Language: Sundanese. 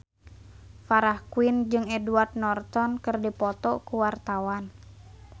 Farah Quinn jeung Edward Norton keur dipoto ku wartawan